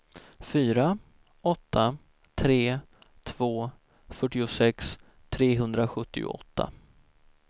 fyra åtta tre två fyrtiosex trehundrasjuttioåtta